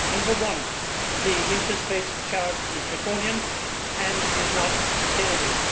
Firstly, the interest rate charged is draconian and is not sustainable.